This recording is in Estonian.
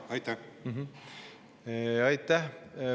Aitäh!